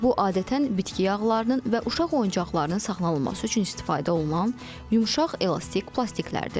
Bu adətən bitki yağlarının və uşaq oyuncaqlarının saxlanılması üçün istifadə olunan yumşaq, elastik plastiklərdir.